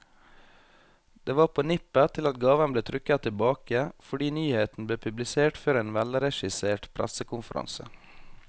Det var på nippet til at gaven ble trukket tilbake, fordi nyheten ble publisert før en velregissert pressekonferanse.